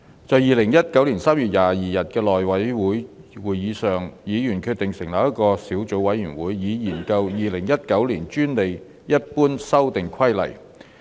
在2019年3月22日的內務委員會會議上，議員決定成立一個小組委員會，以研究《2019年專利規則》。